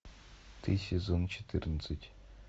ты сезон четырнадцать